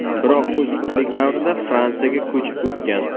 Biroq o‘smirlik davrida Fransiyaga ko‘chib o‘tgan.